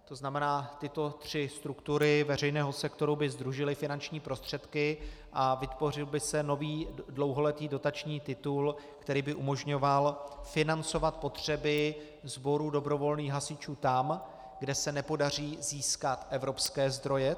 To znamená, tyto tři struktury veřejného sektoru by sdružily finanční prostředky a vytvořil by se nový dlouholetý dotační titul, který by umožňoval financovat potřeby sboru dobrovolných hasičů tam, kde se nepodaří získat evropské zdroje.